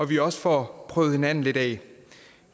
vi også får prøvet hinanden lidt af